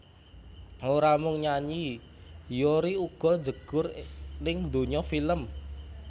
Ora mung nyanyi Hyori uga njegur ning donya film